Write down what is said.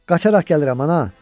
Qaçaqaraq gəlirəm, ana!